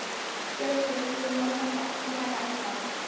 Bjössi, einhvern tímann þarf allt að taka enda.